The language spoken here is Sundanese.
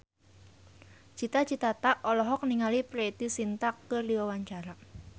Cita Citata olohok ningali Preity Zinta keur diwawancara